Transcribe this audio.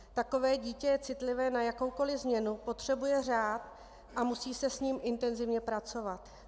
Takové dítě je citlivé na jakoukoliv změnu, potřebuje řád a musí se s ním intenzivně pracovat.